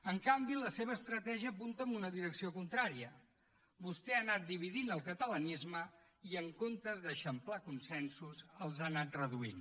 en canvi la seva estratègia apunta en una direcció contrària vostè ha anat dividint el catalanisme i en comptes d’eixamplar consensos els ha anat reduint